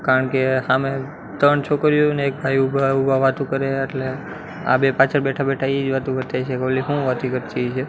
કારણ કે હામે ત્રણ છોકરીઓ અને એક ભાઈ ઊભા ઊભા વાતો કરે હે એટલે આ બે પાછળ બેઠા બેઠા એજ વાતો કરતા હશે કે ઓલી હુ વાતો કરતી હશે.